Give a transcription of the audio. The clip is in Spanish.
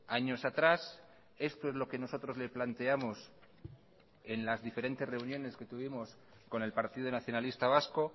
años atrás esto es lo que nosotros le planteamos en las diferentes reuniones que tuvimos con el partido nacionalista vasco